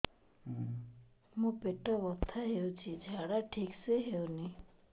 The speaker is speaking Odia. ମୋ ପେଟ ବଥା ହୋଉଛି ଝାଡା ଠିକ ସେ ହେଉନି